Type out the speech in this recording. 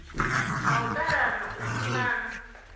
na u ṱalana u funana